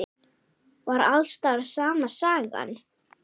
Var alls staðar sama sagan?